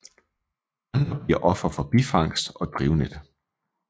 Andre bliver ofre for bifangst og drivnet